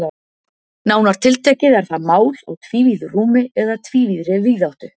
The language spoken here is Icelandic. Nánar tiltekið er það mál á tvívíðu rúmi eða tvívíðri víðáttu.